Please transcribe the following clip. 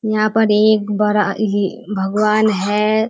यहाँ पर एक बड़ा ही भगवान है।